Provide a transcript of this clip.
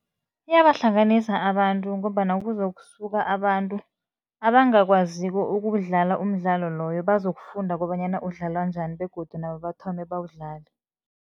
Iyabahlanganisa abantu ngombana kuzokusuka abantu abangakwaziko ukuwudlala umdlalo loyo, bazokufunda kobanyana udlalwa njani begodu nabo bathome bawudlale.